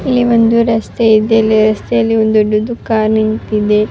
ಇಲ್ಲಿ ಒಂದು ರಸ್ತೆ ಇದೆ ಈ ರಸ್ತೆಯಲ್ಲಿ ಒಂದು ದೊಡ್ಡ್ ಕಾರ್ ನಿಂತಿದೆ.